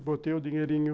E botei o dinheirinho.